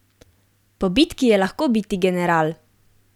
Po bitki je lahko biti general!